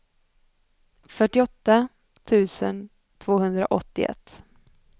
fyrtioåtta tusen tvåhundraåttioett